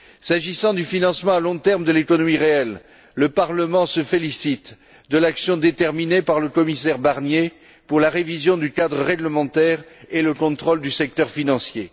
S'agissant du financement à long terme de l'économie réelle, le Parlement se félicite de l'action déterminée par le commissaire Barnier pour la révision du cadre réglementaire et le contrôle du secteur financier.